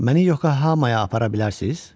Məni Yokohamaya apara bilərsiniz?